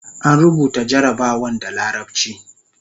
an rubuta jarabawan da larabci